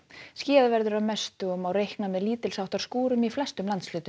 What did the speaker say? skýjað verður að mestu og má reikna með skúrum í flestum landshlutum